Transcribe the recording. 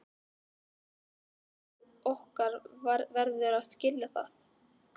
Og faðir okkar verður að skilja það.